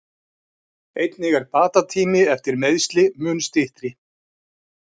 Einnig er bata tími eftir meiðsli mun styttri.